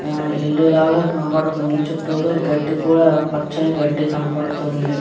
ఆ ఇల్లు లాగా కనబడుతుంది చుట్టూరు గడ్డి కూడా పచ్చని గడ్డి కనబడుతుంది.